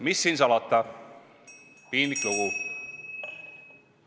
Mis siin salata, piinlik lugu.